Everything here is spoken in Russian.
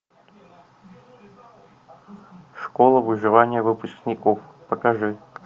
школа выживания выпускников покажи